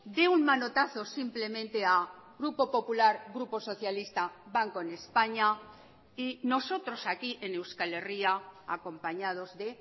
de un manotazo simplemente a grupo popular grupo socialista banco en españa y nosotros aquí en euskal herria acompañados de